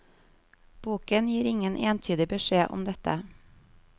Boken gir ingen entydig beskjed om dette.